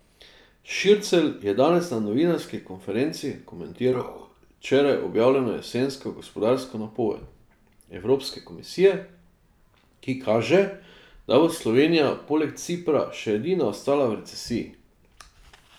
Šircelj je danes na novinarski konferenci komentiral včeraj objavljeno jesensko gospodarsko napoved Evropske komisije, ki kaže, da bo Slovenija poleg Cipra še edina ostala v recesiji.